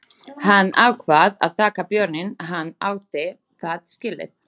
Hann ákvað að taka bjórinn, hann átti það skilið.